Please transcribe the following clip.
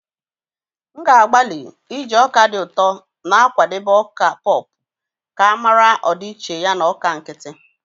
M ga-agbalị iji ọka dị ụtọ na-akwadebe ọka pop ka mara ọdịiche ya na ọka nkịtị.